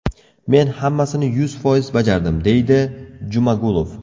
Men hammasini yuz foiz bajardim”, deydi Jumagulov.